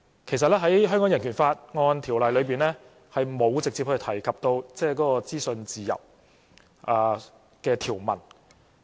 其實，在《香港人權法案條例》裏，並沒有直接提及資訊自由的條文。